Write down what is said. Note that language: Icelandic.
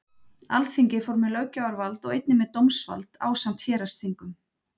Alþingi fór með löggjafarvald og einnig með dómsvald ásamt héraðsþingum.